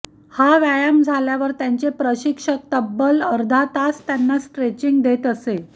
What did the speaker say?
हा व्यायाम झाल्यावर त्यांचे प्रशिक्षक तब्बल अर्धा तास त्यांना स्ट्रेचिंग देत असे